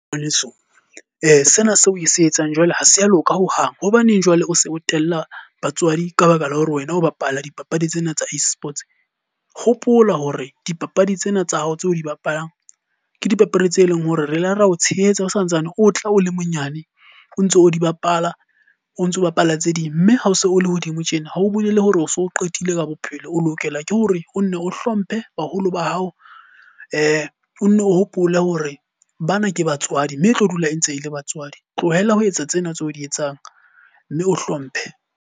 Ngwaneso, sena seo o se etsang jwale ha se ya loka hohang. Hobaneng jwale o se o tella batswadi ka baka la hore wena o bapala dipapadi tsena tsa e-Sports. Hopola hore dipapadi tsena tsa hao tse o di bapalang ke dipapadi tse leng hore re la ra o tshehetsa o santsane o tla o le monyane o ntso o di bapala, o ntso bapala tse ding. Mme ha o se o le hodimo tjena ha o bolele hore o so qetile ka bophelo. O lokela ke hore o nne o hlomphe baholo ba hao o nenne o hopole hore bana ke batswadi mme e tlo dula e ntse e le batswadi. Tlohela ho etsa tsena tse o di etsang mme o hlomphe.